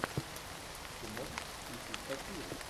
ты можешь включить сатиру